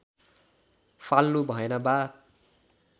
फाल्नुभएन बा